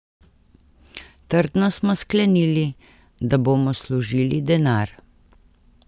Trdno smo sklenili, da bomo služili denar.